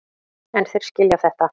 En þeir skilja þetta.